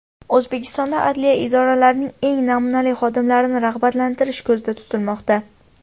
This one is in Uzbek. O‘zbekistonda adliya idoralarining eng namunali xodimlarini rag‘batlantirish ko‘zda tutilmoqda.